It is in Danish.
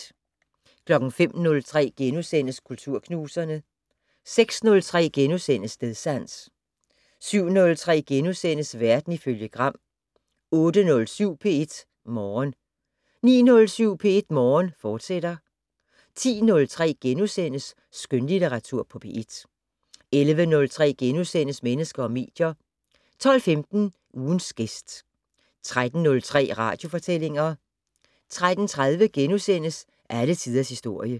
05:03: Kulturknuserne * 06:03: Stedsans * 07:03: Verden ifølge Gram * 08:07: P1 Morgen 09:07: P1 Morgen, fortsat 10:03: Skønlitteratur på P1 * 11:03: Mennesker og medier * 12:15: Ugens gæst 13:03: Radiofortællinger 13:30: Alle tiders historie *